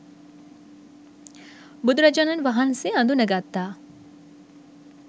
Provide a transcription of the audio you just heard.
බුදුරජාණන් වහන්සේ අඳුනගත්තා